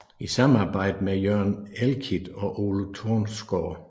I samarbejde med Jørgen Elklit og Ole Tonsgaard